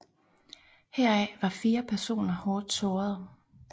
Heraf var fire personer hårdt sårede